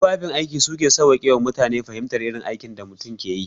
Tufafin aiki su ke sawwaƙe ma mutane fahimtar irin aikin da mutum ke yi.